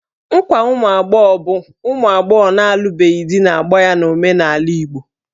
Nkwa ụmụ agbọghọ bụ ụmụ agbọghọ na-alụbeghị di na-agba ya n'omenala Igbo.